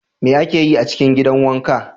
Me ake yi a cikin gidan wanka?